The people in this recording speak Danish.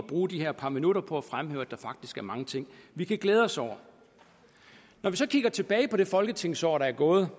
bruge de her par minutter på at fremhæve at der faktisk er mange ting vi kan glæde os over når vi så kigger tilbage på det folketingsår der er gået